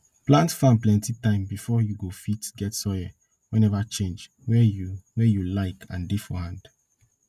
plant farm plenti time before you go fit get soil wey neva change wey you wey you like and dey for hand